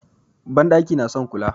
Banɗaki na son kula.